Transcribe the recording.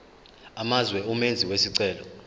amazwe umenzi wesicelo